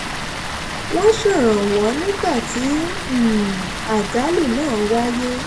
wọ́n ṣèrànwọ́ nígbà tí um àjálù náà wáyé